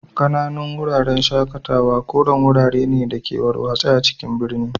Ƙananun Wuraren shaƙatawa koren wurare ne da ke warwatse a cikin birni.